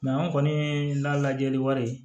an kɔni ka lajɛli wari